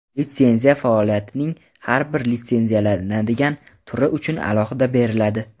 litsenziya faoliyatning har bir litsenziyalanadigan turi uchun alohida beriladi.